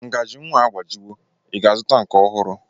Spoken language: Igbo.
Ngaji nwa a agbajiwo; Ị ga-azụta nke ọhụrụ?